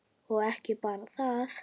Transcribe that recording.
Og ekki bara það: